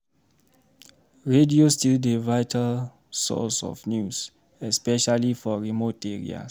Radio still dey vital source of news, especially for remote areas.